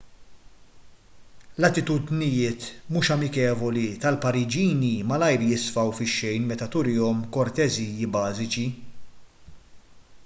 l-atitudnijiet mhux amikevoli tal-pariġini malajr jisfaw fix-xejn meta turihom korteżji bażiċi